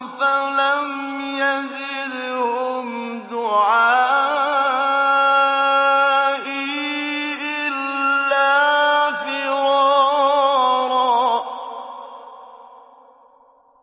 فَلَمْ يَزِدْهُمْ دُعَائِي إِلَّا فِرَارًا